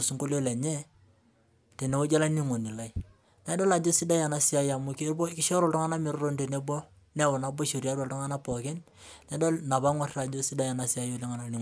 aitaduai nduat enye tenewueji olaininingoni lai naidol ajo kesidai enasia oleng amu kishoru ltunganak metotoni tenebo niahori tiatua ltunganak pooki nedoli ajo sidai enasia.